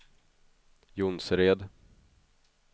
Jonsered